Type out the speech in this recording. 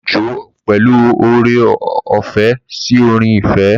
Jó pẹ̀lú oore-ọ̀fẹ́ sí orin ìfẹ́.